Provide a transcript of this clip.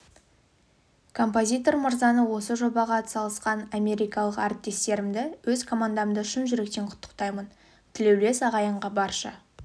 композитор мырзаны осы жобаға атсалысқан америкалық ріптестерімді өз командамды шын жүректен құттықтаймын тілеулес ағайынға барша